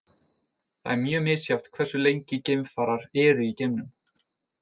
Það er mjög misjafnt hversu lengi geimfarar eru í geimnum.